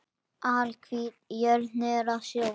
Alhvít jörð niður að sjó.